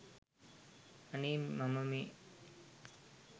අනේ මම මේ